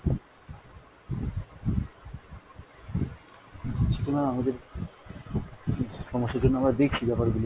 দুঃখিত ma'am আমাদের সমস্যার জন্য আমরা দেখছি ব্যাপার গুলো।